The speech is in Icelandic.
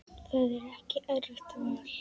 Það er ekki erfitt val.